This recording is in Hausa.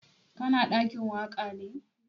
Ka na ɗakin waƙa ne?